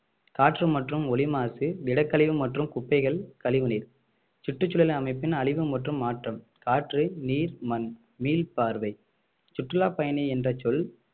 காற்று மற்றும் ஒலி மாசு திடக்கழிவு மற்றும் குப்பைகள் கழிவு நீர் சுற்றுச்சூழல் அமைப்பின் அழிவு மற்றும் மாற்றம் காற்று நீர் மண் மீள்பார்வை சுற்றுலா பயணி என்ற சொல்